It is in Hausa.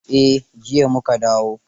Eh, jiya mu ka dawo